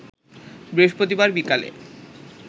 বৃহস্পতিবার বিকালে